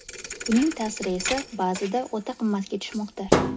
Buning ta’siri esa ba’zida o‘ta qimmatga tushmoqda.